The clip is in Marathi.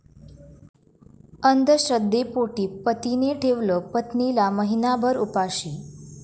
अंधश्रद्धेपोटी पतीने ठेवलं पत्नीला महिनाभर उपाशी